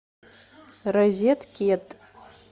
розеткед